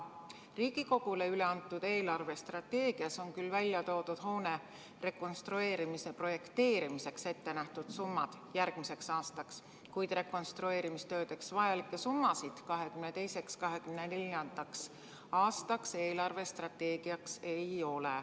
Riigikogule üle antud eelarvestrateegias on välja toodud hoone rekonstrueerimise projekteerimiseks ainult järgmiseks aastaks ette nähtud summad, kuid rekonstrueerimistöödeks vajalikke summasid 2022.–2024. aastaks eelarvestrateegias esitatud ei ole.